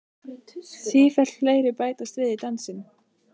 Sífellt fleiri bætast við í dansinn.